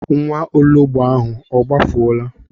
Nwaologbo ahụ a gbafuola?